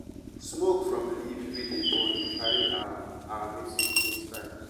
smoke from leaf wey dey burn dey carry our our message go sky.